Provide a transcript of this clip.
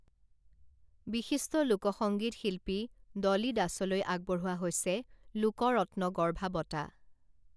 বিশিষ্ট লোক সংগীত শিল্পী ডলী দাসলৈ আগবঢ়োৱা হৈছে লোকৰত্নগৰ্ভা বঁটা